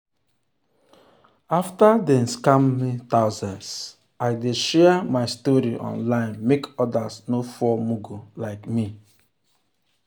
after dem scam me thousands i dey share my story online make others no fall mugu like me.